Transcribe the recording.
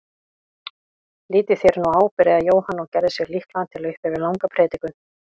Lítið þér nú á, byrjaði Jóhann og gerði sig líklegan til að upphefja langa predikun.